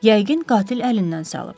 Yəqin qatil əlindən salıb.